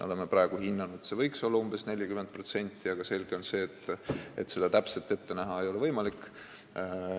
Oleme praegu hinnanud, et neid võiks olla umbes 40%, aga selge on see, et seda täpselt ette näha ei ole võimalik.